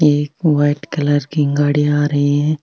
एक white colour की गाड़ी आ रही है।